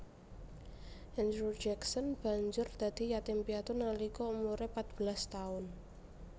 Andrew Jackson banjur dadi yatim piatu nalika umuré patbelas taun